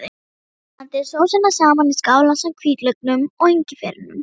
Blandið sósunum saman í skál ásamt hvítlauknum og engifernum.